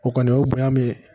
O kɔni o ye bonya min ye